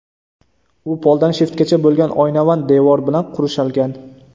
U poldan shiftgacha bo‘lgan oynavand devor bilan qurshalgan.